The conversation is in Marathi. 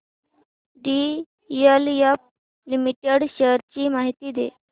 डीएलएफ लिमिटेड शेअर्स ची माहिती दे